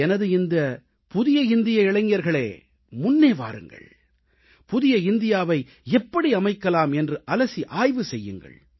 எனது இந்த புதிய இந்திய இளைஞர்களே முன்னே வாருங்கள் புதிய இந்தியாவை எப்படி அமைக்கலாம் என்று அலசி ஆய்வு செய்யுங்கள்